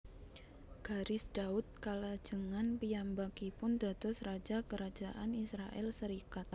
Garis Daud kalajengan piyambakipun dados raja Kerajaan Israèl serikat